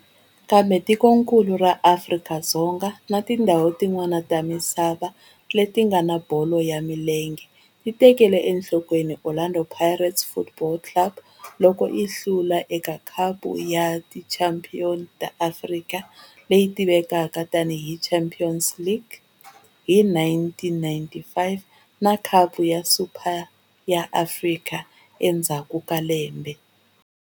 Kambe tikonkulu ra Afrika-Dzonga na tindzhawu tin'wana ta misava ya bolo ya milenge ti tekele enhlokweni Orlando Pirates Football Club loko yi hlula eka Khapu ya Tichampion ta Afrika, leyi tivekaka tani hi Champions League, hi 1995 na Khapu ya Super ya Afrika endzhaku ka lembe.